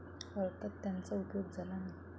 अर्थात त्याचा उपयोग झाला नाही.